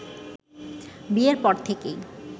বিয়ের পর থেকেই